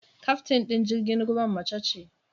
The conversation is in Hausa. Kyaftin ɗin jirgin ruwan mace ce.